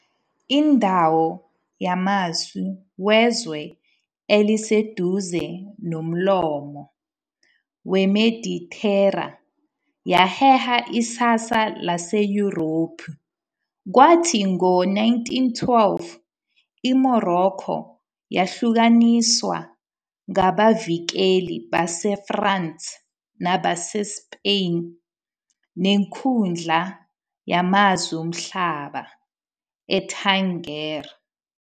Indawo yamasu wezwe eliseduze nomlomo weMedithera yaheha isasasa laseYurophu, kwathi ngo-1912, iMorocco yahlukaniswa ngabavikeli baseFrance nabaseSpain, nenkundla yamazwe omhlaba eTangier.